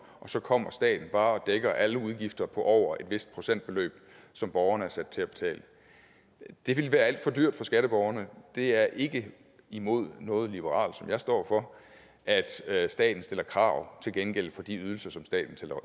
og så kommer staten bare og dækker alle udgifter på over et vist procentbeløb som borgerne er sat til at betale det ville være alt for dyrt for skatteborgerne det er ikke imod noget liberalt som jeg står for at at staten stiller krav til gengæld for de ydelser som staten